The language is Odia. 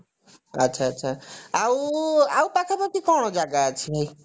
ଆଛା ଆଛା ଆଉ ଆଉ ପାଖାପାଖି କଣ ଜାଗା ଅଛି ଭାଇ